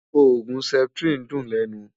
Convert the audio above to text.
ògún septrin dùn lènú